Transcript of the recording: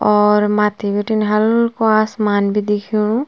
और मथ्थी बिटिन हल्कू आसमान भी दिखेणु --